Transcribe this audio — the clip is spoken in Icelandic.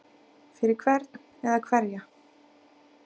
Fyrir hvern eða hverja?